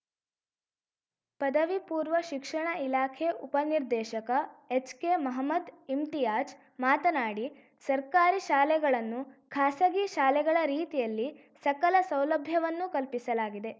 ಪದವಿಪೂರ್ವ ಶಿಕ್ಷಣ ಇಲಾಖೆ ಉಪನಿರ್ದೇಶಕ ಎಚ್‌ಕೆ ಮಹಮದ್‌ ಇಮ್ತಿಯಾಜ್‌ ಮಾತನಾಡಿ ಸರ್ಕಾರಿ ಶಾಲೆಗಳನ್ನು ಖಾಸಗಿ ಶಾಲೆಗಳ ರೀತಿಯಲ್ಲಿ ಸಕಲ ಸೌಲಭ್ಯವನ್ನು ಕಲ್ಪಿಸಲಾಗಿದೆ